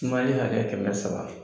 Sumali hakɛ kɛmɛ saba